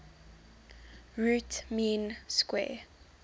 root mean square